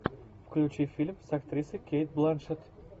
включи фильм с актрисой кейт бланшетт